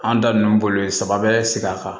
An da nunnu boli saba bɛɛ sigida kan